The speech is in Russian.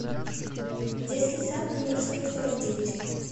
детский сад номер сто сорок девять